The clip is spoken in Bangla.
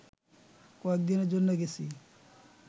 কয়েকদিনের জন্যে গেছি